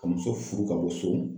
Ka muso furu ka bɔ so